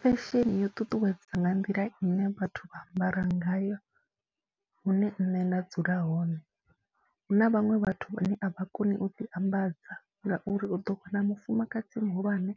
Fesheni yo ṱuṱuwedza nga nḓila ine vhathu vha ambara ngayo hune nṋe nda dzula hone, hu na vhaṅwe vhathu vhane a vha koni u ḓiambadza ngauri u ḓo wana mufumakadzi muhulwane